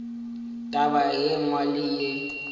taba ye nngwe le ye